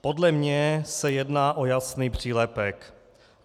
Podle mě se jedná o jasný přílepek.